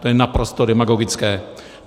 To je naprosto demagogické.